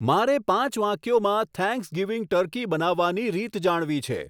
મારે પાંચ વાક્યોમાં થેંક્સગિવિંગ ટર્કી બનાવવાની રીત જાણવી છે